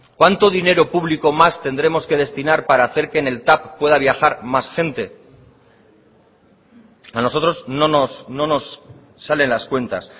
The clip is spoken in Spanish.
cuánto dinero público más tendremos que destinar para hacer que en el tav pueda viajar más gente a nosotros no nos salen las cuentas